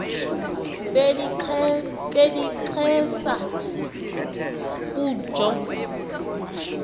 beli xesa butjho